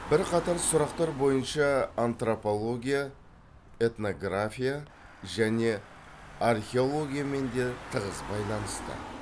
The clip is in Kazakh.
бір қатар сұрақтар бойынша антропология этнография және археологиямен де тығыз байланысты